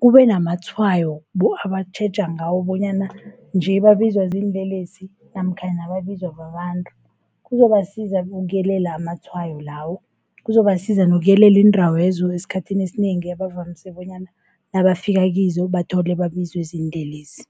kube namatshwayo abatjheja ngawo bonyana nje babizwa ziinlelesi namkhana babizwa babantu. Kuzobasiza ukuyelela amatshwayo lawo, kuzobasiza nokuyelela iindawo lezo esikhathini esinengi abavamise bonyana nabafika kizo bathole babizwe ziinlelesi.